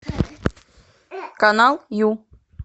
канал ю